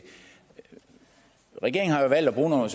regeringen har valgt at bruge nogle